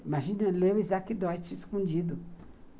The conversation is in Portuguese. Imagina ler o Isaac Deutsch escondido.